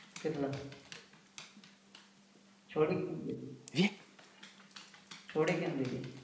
કેટલા? છોડી કેમ દીધી? છોડી કેમ દીધી?